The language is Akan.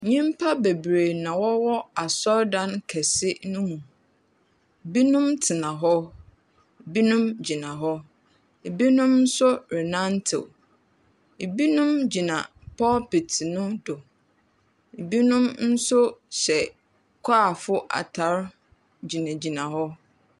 Nyimpa beberee na wɔwɔ asordan kɛse mu. Binom tsena hɔ, binom gyina hɔ, binom nso renantew. Binom gyina pulpit no do. Binom nso hyɛchoir fo atar gyinagyina hɔ.